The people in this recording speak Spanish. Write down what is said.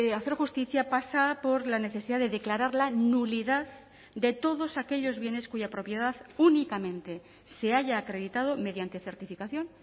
hacer justicia pasa por la necesidad de declarar la nulidad de todos aquellos bienes cuya propiedad únicamente se haya acreditado mediante certificación